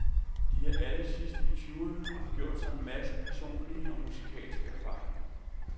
De er alle sidst i tyverne og har gjort sig en masse personlige og musikalske erfaringer.